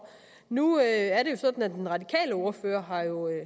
nu er det jo sådan at den radikale ordfører